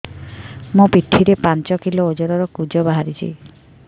ମୋ ପିଠି ରେ ପାଞ୍ଚ କିଲୋ ଓଜନ ର କୁଜ ବାହାରିଛି